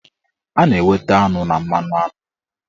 A na-enweta aṅụ na mmanụaṅụ